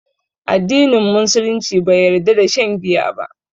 Addinin Musulunci bai yarda da shan giya ba